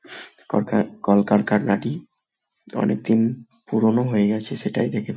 করকা কলকারখানাটি অনেক দিন পুরোনো হয়ে গেছে সেটাই দেখে বো--